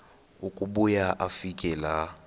akubuya afike laa